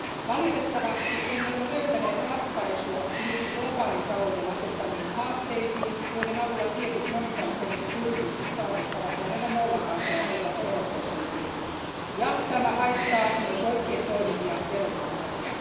Valitettavasti emme ole löytäneet ratkaisua niihin globaalin talouden asettamiin haasteisiin, joiden avulla tietyt monikansalliset yritykset saavuttavat lähellä nollatasoa olevan veroprosentin, ja tämä haittaa myös oikein toimivia veronmaksajia.